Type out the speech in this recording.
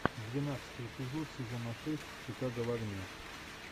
двенадцатый эпизод сезона шесть чикаго в огне